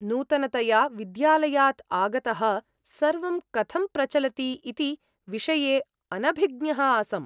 नूतनतया विद्यालयात् आगतः, सर्वं कथं प्रचलति इति विषये अनभिज्ञः आसम्।